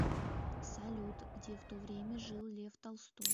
салют где в то время жил лев толстой